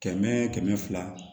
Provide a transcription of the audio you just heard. Kɛmɛ kɛmɛ fila